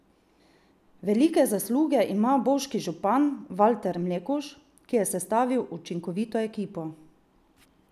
Velike zasluge ima bovški župan Valter Mlekuž, ki je sestavil učinkovito ekipo.